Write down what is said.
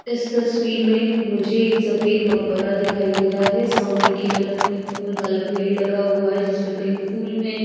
इस तस्वीर में मुझे एक सफेद मकबरा दिखाई दे रहा है सामने की तरफ में एक फूल वाला पेड़ लगा हुआ है जिसमें पिंक फूल हैं।